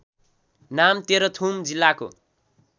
नाम तेह्रथुम जिल्लाको